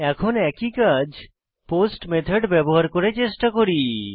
এখন একই কাজ পোস্ট মেথড ব্যবহার করে চেষ্টা করি